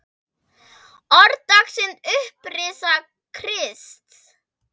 Orð dagsins Upprisa Krists